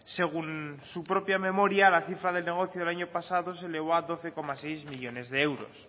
según su propia memoria la cifra del negocio el año pasado se elevó a doce coma seis millónes de euros